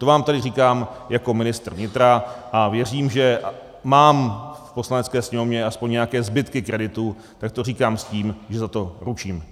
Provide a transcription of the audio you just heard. To vám tady říkám jako ministr vnitra a věřím, že mám v Poslanecké sněmovně aspoň nějaké zbytky kreditu, tak to říkám s tím, že za to ručím.